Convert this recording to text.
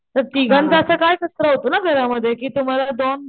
पण तिघांचा असा काय कचरा होतो ना घर मध्ये कि तुम्हाला दोन